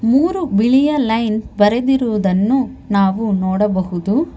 ಮೂರು ಬಿಳಿಯ ಲೈನ್ ಬರೆದಿರುವುದನ್ನು ನಾವು ನೋಡಬಹುದು.